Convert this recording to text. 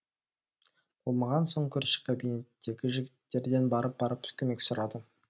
болмаған соң көрші кабинеттегі жігіттерден барып барып көмек сұрады